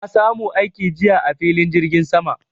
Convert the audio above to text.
Na samu aiki jiya a filin jirgin sama